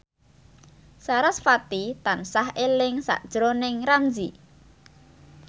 sarasvati tansah eling sakjroning Ramzy